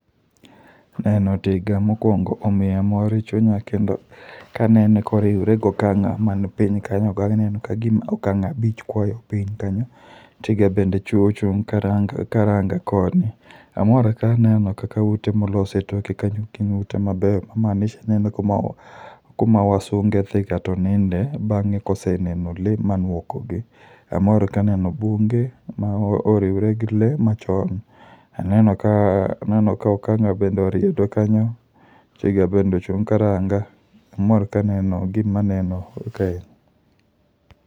Neno tiga mokwongo omiya mor e chunya ka anene koriwre gi okang'a man piny kanyogo, aneno ka gima okang'a abich kwayo piny kanyo, tiga bende echo ochung' karanga koni. Amor kaneno kaka ute molos e toke kanyo gin ute maber, ma maanisha ni en kuma wazunge dhiga to ninde bang'e koseneno le man woko gi. Amor kaneno bunge ma oriwre gi lee machon. Aneno ka okang'a bende oriedo kanyo, tiga bende ochung' karanga. Amor kaneno gima aneno kae.